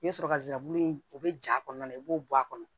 I bɛ sɔrɔ ka nsirabulu in o bɛ ja kɔnɔna la i b'o bɔ a kɔnɔ